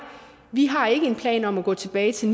vi har ikke en plan om at gå tilbage til